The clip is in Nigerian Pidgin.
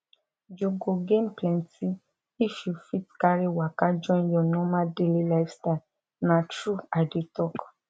you go gain plenty if you fit carry waka join your normal daily lifestyle na true i dey talk